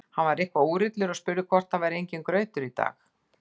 Hann var eitthvað úrillur og spurði hvort það væri enginn grautur í dag.